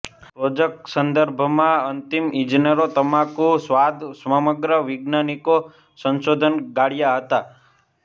project સંદર્ભમાં અંતિમ ઇજનેરો તમાકુ સ્વાદ સમગ્ર વૈજ્ઞાનિક સંશોધન ગાળ્યા હતા